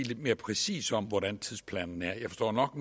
lidt mere præcist om hvordan tidsplanen er jeg forstår nok